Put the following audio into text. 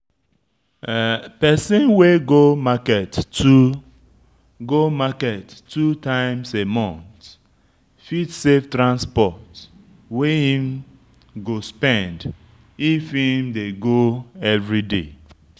Person wey go market two go market two times a month go save transport wey im go spend if im dey go everyday